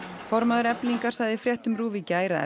formaður Eflingar sagði í fréttum RÚV í gær að